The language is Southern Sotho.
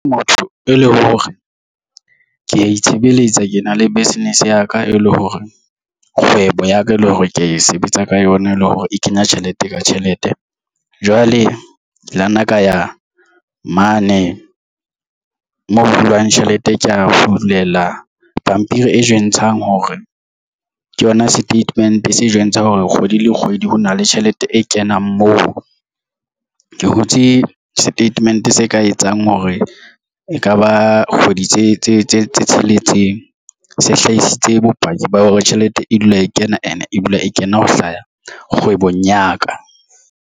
Motho e leng hore ke ya itshebeletsa ke na le business ya ka e le hore kgwebo ya ka e le hore ke sebetsa ka yona e le hore e kenya tjhelete ka tjhelete. Jwale ke lana kaya mane moo hulwang tjhelete. Ke ya hulelwa pampiri e bontshang hore ke yona statement-e se jwentsha hore kgwedi le kgwedi ho na le tjhelete e kenang mo ke hutse statement se ka etsang hore ekaba kgwedi tse tsheletseng se hlaisitse bopaki ba hore tjhelete e dula e kena and-e dula e kena ho hlaha kgwebong ya ka.